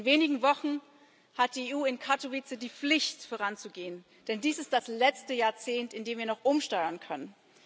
In wenigen Wochen hat die EU in Katowice die Pflicht, voranzugehen, denn dies ist das letzte Jahrzehnt, in dem wir noch umsteuern können.